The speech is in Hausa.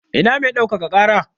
Ina mai ɗaukaka ƙara?